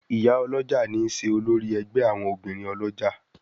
Ìyá olójà ní ṣe olórí ègbé àwọn obìrin olójà.